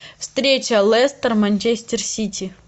встреча лестер манчестер сити